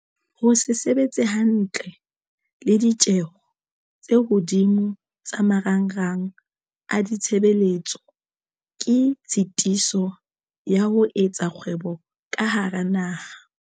Ho se sebetse hantle le ditjeho tse hodimo tsa marangrang a ditshebeletso ke tshitiso ya ho etsa kgwebo ka hara naha.